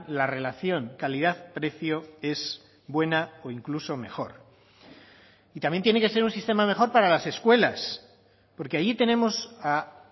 la relación calidad precio es buena o incluso mejor y también tiene que ser un sistema mejor para las escuelas porque allí tenemos a